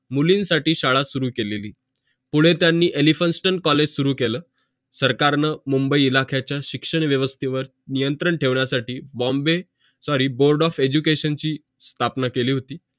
मुली साठी शाळा सुरु केलेली पुढे त्यांनी elphinstone college सुरू केलं सरकारनं मुंबई इलाख्याचा शिक्षण व्यवस्थे वर नियंत्रण ठेवण्यासाठी Bombay sorry board of education ची स्थापना केली होती